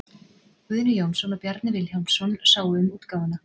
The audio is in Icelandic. Guðni Jónsson og Bjarni Vilhjálmsson sáu um útgáfuna.